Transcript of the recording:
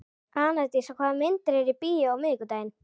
Anastasía, hvaða myndir eru í bíó á miðvikudaginn?